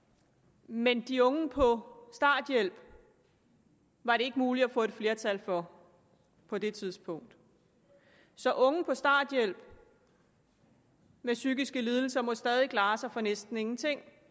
men at de unge på starthjælp var det ikke muligt at få et flertal for på det tidspunkt så unge på starthjælp med psykiske lidelser må stadig klare sig for næsten ingenting